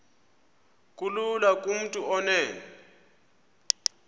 kulula kumntu onen